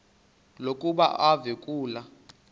lokuba uve kulaa